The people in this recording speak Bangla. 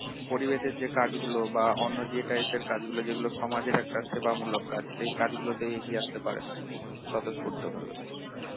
পরিবেশের যে কাজগুলো বা অন্য যে type এর কাজগুলো যেগুলো সমাজের একটা সেবামূলক কাজ সেই কাজগুলোতে এগিয়ে আসতে পারেনা, স্বতঃস্ফূর্ত ভাবে